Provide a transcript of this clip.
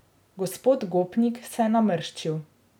Gospod Gopnik se je namrščil.